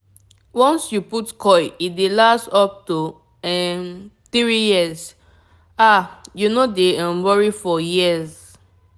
once you put coil e dey last up um to 3yrs -- ah u no dey um worry for years.